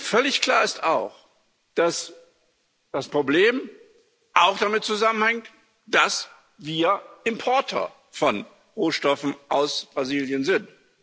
Völlig klar ist auch, dass das Problem auch damit zusammenhängt, dass wir Importeur von Rohstoffen aus Brasilien sind.